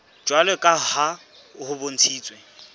jwalo ka ha ho bontshitswe